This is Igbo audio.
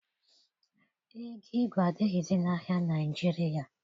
Ego igwe adịghịzi n'ahịa Naịjirịa.